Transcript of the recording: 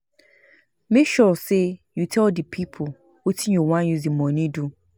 Make sure say you tell di pipo wetin you won use di money do